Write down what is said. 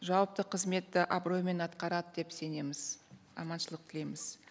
жауапты қызметті абыроймен атқарады деп сенеміз аманшылық тілейміз